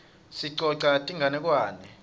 sicoca tinganekwane